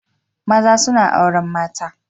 Maza suna auren mata.